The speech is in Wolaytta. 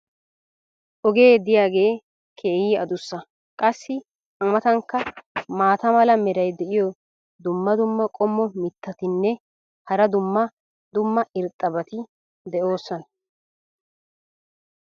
Ogee diyaagee keehi addussa. qassi a matankka maata mala meray diyo dumma dumma qommo mitattinne hara dumma dumma irxxabati de'oosona.